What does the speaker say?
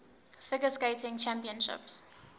figure skating championships